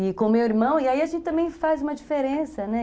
E... E com o meu irmão... E aí a gente também faz uma diferença, né?